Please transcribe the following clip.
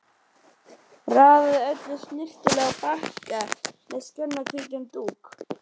Raðaði öllu snyrtilega á bakka með snjakahvítum dúk.